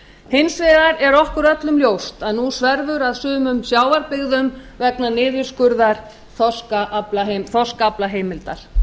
hins vegar er okkur öllum ljóst að nú sverfur að sumum sjávarbyggðum vegna niðurskurðar þorskaflaheimilda